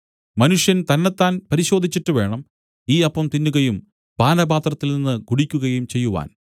മനുഷ്യൻ തന്നെത്താൻ പരിശോധിച്ചിട്ടുവേണം ഈ അപ്പം തിന്നുകയും പാനപാത്രത്തിൽനിന്ന് കുടിക്കുകയും ചെയ്യുവാൻ